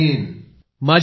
सगळेछात्र जय हिंद सर